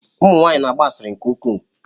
Ụmụ nwanyị na-agba asịrị nke ukwuu.